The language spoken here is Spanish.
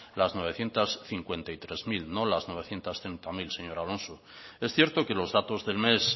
las novecientos cincuenta y tres mil no las novecientos treinta mil señor alonso es cierto que los datos del mes